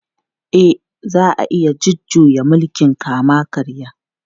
E, za a iya jujjuya mulkin kama-karya.